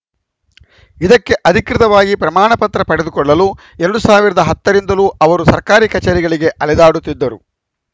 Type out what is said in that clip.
ಇದಕ್ಕೆ ಅಧಿಕೃತವಾಗಿ ಪ್ರಮಾಣಪತ್ರ ಪಡೆದುಕೊಳ್ಳಲು ಎರಡ್ ಸಾವಿರದ ಹತ್ತ ರಿಂದಲೂ ಅವರು ಸರ್ಕಾರಿ ಕಚೇರಿಗಳಿಗೆ ಅಲೆದಾಡುತ್ತಿದ್ದರು